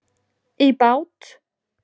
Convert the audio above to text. í bát.